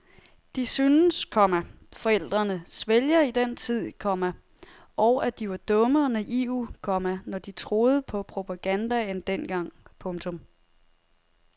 De synes, komma forældrene svælger i den tid, komma og at de var dumme og naive, komma når de troede på propagandaen dengang. punktum